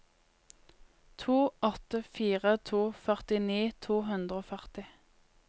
to åtte fire to førtini to hundre og førti